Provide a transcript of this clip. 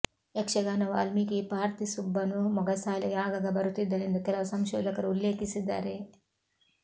ಯಕ್ಷಗಾನ ವಾಲ್ಮೀಕಿ ಪಾರ್ತಿಸುಬ್ಬನೂ ಮೊಗಸಾಲೆಗೆ ಆಗಾಗ ಬರುತ್ತಿದ್ದನೆಂದು ಕೆಲವು ಸಂಶೋಧಕರು ಉಲ್ಲೇಖಿಸಿದ್ದಾರೆ